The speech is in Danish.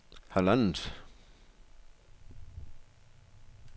halvandet